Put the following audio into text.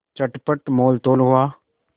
चटपट मोलतोल हुआ